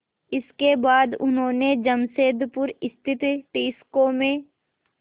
इसके बाद उन्होंने जमशेदपुर स्थित टिस्को में